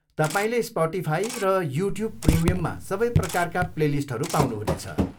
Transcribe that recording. तपाईँले स्पटिफाई र युट्युब प्रिमियममा सबै प्रकारका प्लेलिस्टहरू पाउनुहुनेछ।